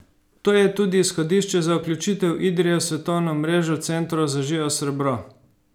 To je tudi izhodišče za vključitev Idrije v svetovno mrežo Centrov za živo srebro.